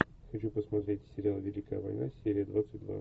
хочу посмотреть сериал великая война серия двадцать два